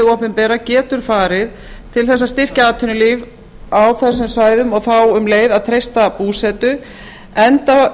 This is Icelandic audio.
opinbera getur farið til þess að styrkja atvinnulíf á þessum svæðum og þá um leið að treysta búsetu enda